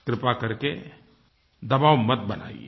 कृपा करके दबाव मत बनाइये